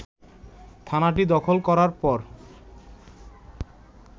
থানাটি দখল করার পর